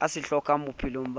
a se hlokang bophelong ba